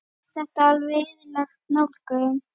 Er þetta alveg eðlileg nálgun?